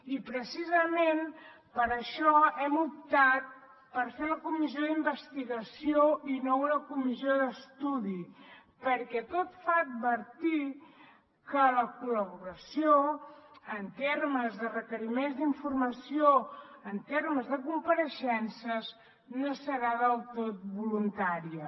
i precisament per això hem optat per fer la comissió d’investigació i no una comissió d’estudi perquè tot fa advertir que la col·laboració en termes de requeriments d’informació en termes de compareixences no serà del tot voluntària